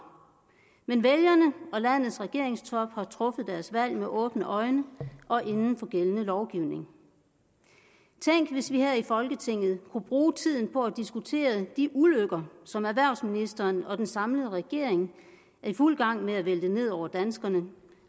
men vælgerne og landets regeringstop har truffet deres valg med åbne øjne og inden for gældende lovgivning tænk hvis vi her i folketinget kunne bruge tiden på at diskutere de ulykker som erhvervsministeren og den samlede regering er i fuld gang med at vælte ned over danskerne